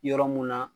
Yɔrɔ mun na